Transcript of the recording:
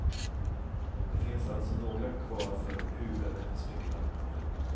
Det finns alltså några kvar för hugade spekulanter.